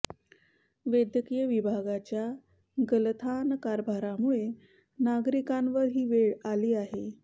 वैद्यकीय विभागाच्या गलथान कारभारामुळे नागरिकांवर ही वेळ आली आहे